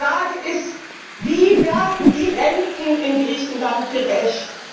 Aber die Frage ist Wie werden die Renten in Griechenland gerecht?